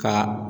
Ka